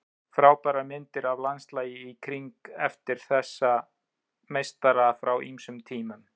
Frábærar myndir af landslaginu í kring eftir þessa meistara frá ýmsum tímum.